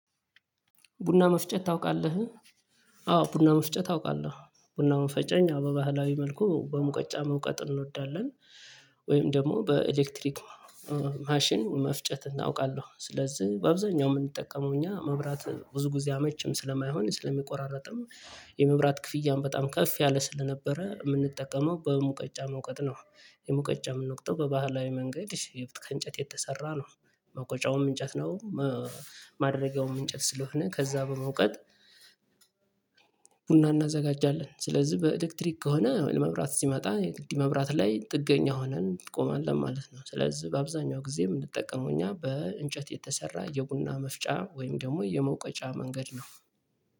ቡና መፍጨት ታውቃለህ? አዎ ቡና መፍጨት አውቃለሁ ቡናውን ፈጨኝ በባህላዊ መልኩ በሙቀጫ መውቀጥ እንወዳለን። ወይም ደግሞ በኤሌክትሪክ ማሽን መፍጨት እናውቃለሁ። ስለዚህ በአብዛኛው የምንጠቀመው እኛ መብራት ብዙ ጊዜ አመችም ስለማይሆን ስለሚቆራረጥም የመብራት ክፍያም በጣም ከፍ ያለ ስለነበረ የምንጠቀመው በሙቀጫ መውቀጥ ነው። የሙቀጫ የምንወቅጠው በባህላዊ መንገድ ከእንጨት የተሰራ ነው። መቆጫውም እንጨት ነው። ማድረጊያውም እንጨት ስለሆነ ከዛ በመውቀት ቡና እናዘጋጃለን ስለዚህ በኤሌክትሪክ ከሆነ ለመብራት ሲመጣ መብራት ላይ ጥገኛ ሆነን እንቆማለን ማለት ነው። ስለዚህ በአብዛኛው ጊዜ የምንጠቀመው እኛ በእንጨት የተሰራ የቡና መፍጫ ወይም ደግሞ የመውቀጫ መንገድ ነው።